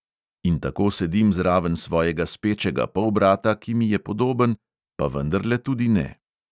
In tako sedim zraven svojega spečega polbrata, ki mi je podoben, pa vendarle tudi ne.